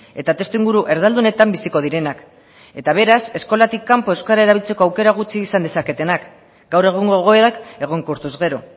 eta testuinguru erdaldunetan biziko direnak eta beraz eskolatik kanpo euskara erabiltzeko aukera gutxi izan dezaketenak gaur egungo egoerak egonkortuz gero